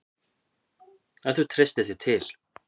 Ef þú treystir þér til.